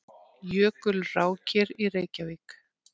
Jökulrákir í Reykjavík.